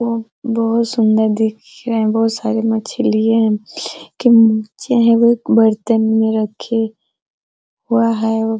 वह बहुत सुन्दर दिख रहे है बहुत सारे मछलिये है की निचे हैं वो एक बर्तन में रखे वह है वो |